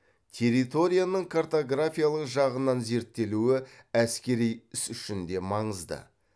территорияның картографиялық жағынан зерттелуі әскери іс үшін де маңызды